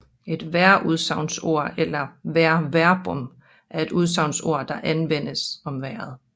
Et vejrudsagnsord eller vejrverbum er et udsagnsord der anvendes om vejret